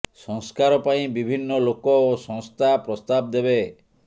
ସଂସ୍କାର ପାଇଁ ବିଭିନ୍ନ ଲୋକ ଓ ସଂସ୍ଥା ପ୍ରସ୍ତାବ ଦେବେ